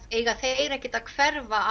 eiga þeir ekkert að hverfa